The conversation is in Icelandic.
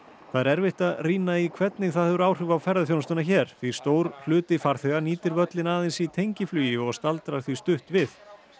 það er erfitt að rýna í hvernig það hefur áhrif á ferðaþjónustuna hér því stór hluti farþega nýtir völlinn aðeins í tengiflugi og staldrar því stutt við